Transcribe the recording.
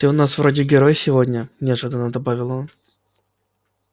ты у нас вроде герой сегодня неожиданно добавил он